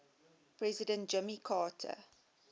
president jimmy carter